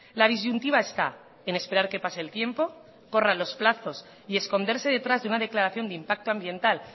la disyuntiva está en esperar que pase el tiempo corran los plazos y esconderse detrás de una declaración de impacto ambiental